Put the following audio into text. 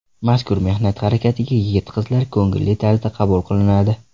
Mazkur mehnat harakatiga yigit-qizlar ko‘ngilli tarzda qabul qilinadi.